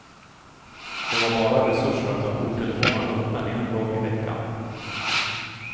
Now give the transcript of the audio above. De har bara resurser att ha jourtelefonen öppen en dag i veckan.